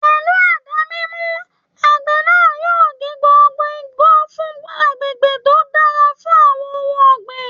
Pẹ̀lú àdá mímú, àgbẹ̀ náà yóò gé gbogbo igbó fún agbègbè tó dára fún àwọn ohun ọ̀gbìn